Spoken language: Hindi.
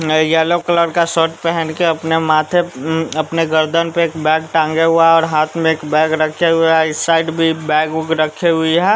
येलो कलर का शर्ट पहन के अपने माथे अपने गर्दन पर एक बैग टांगे हुआ और हाथ में एक बैग रखे हुए इस साइड भी बैग रखे हुए है।